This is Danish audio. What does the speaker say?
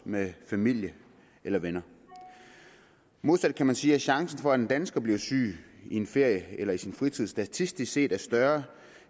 med familien eller vennerne modsat kan man sige at chancen for at en dansker bliver syg i sin ferie eller i sin fritid statistisk set er større